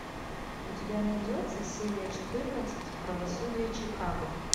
у тебя найдется серия четырнадцать правосудие чикаго